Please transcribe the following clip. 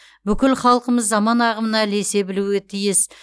бүкіл халқымыз заман ағымына ілесе білуге тиіс